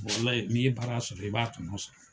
Walayi n'i n ye baara sɔrɔ i b'a tɔnɔ sɔrɔ